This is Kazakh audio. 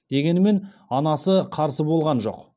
дегенмен анасы қарсы болған жоқ